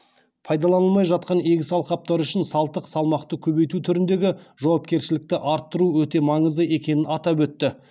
пайдаланылмай жатқан егіс алқаптары үшін салтық салмақты көбейту түріндегі жауапкершілікті арттыру өте маңызды екенін атап өтті